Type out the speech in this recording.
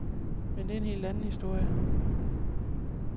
Men det er helt anden historie.